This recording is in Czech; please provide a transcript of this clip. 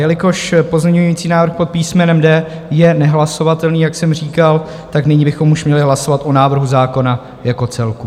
Jelikož pozměňující návrh pod písmenem D je nehlasovatelný, jak jsem říkal, tak nyní bychom už měli hlasovat o návrhu zákona jako celku.